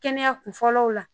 Kɛnɛya kun fɔlɔw la